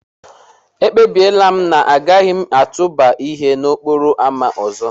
Ekpebiri m na agaghị m atụba ihe n'okporo ámá ọzọ.